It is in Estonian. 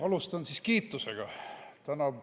Alustan siis kiitusega.